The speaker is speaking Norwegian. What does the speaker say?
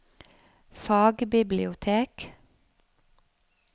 fagbibliotek